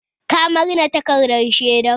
Ka manne takardar shaidar?